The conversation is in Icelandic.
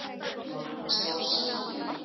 Mamma hans Lása í